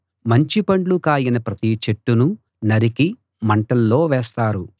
మంచి పండ్లు కాయని ప్రతి చెట్టునూ నరికి మంటల్లో వేస్తారు